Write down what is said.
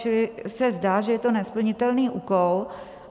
Čili se zdá, že je to nesplnitelný úkol.